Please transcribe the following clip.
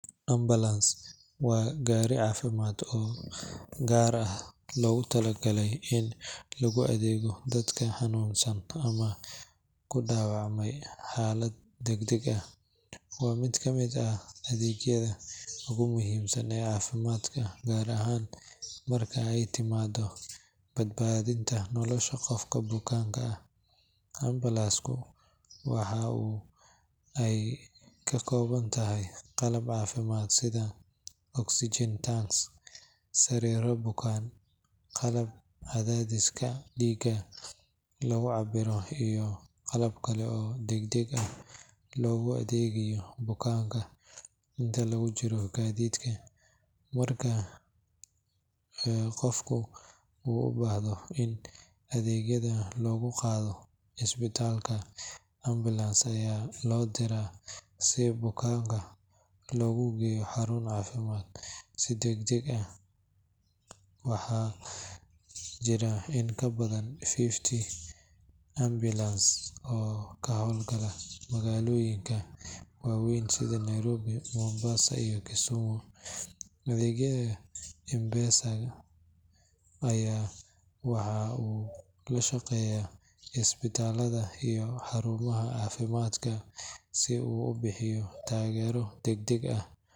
Ambulance waa gaari caafimaad oo si gaar ah loogu talagalay in loogu adeego dadka xanuunsan ama ku dhaawacmay xaalad degdeg ah. Waa mid ka mid ah adeegyada ugu muhiimsan ee caafimaadka, gaar ahaan marka ay timaaddo badbaadinta nolosha qof bukaan ah. Ambulance-ku waxa ay ka kooban tahay qalab caafimaad sida oxygen tanks, sariiro bukaan, qalab cadaadiska dhiigga lagu cabbiro, iyo qalab kale oo degdeg loogu adeegayo bukaanka inta lagu jiro gaadiidka. Marka qofku uu u baahdo in degdeg loogu qaado isbitaalka, ambulance ayaa loo diraa si bukaanka loogu geeyo xarun caafimaad si degdeg ah. Waxaa jira in ka badan fifty ambulances oo ka howl gala magaalooyinka waaweyn sida Nairobi, Mombasa iyo Kisumu. Adeegga ambulance-ka waxa uu la shaqeeyaa isbitaallada iyo xarumaha caafimaadka si uu u bixiyo taageero degdeg ah.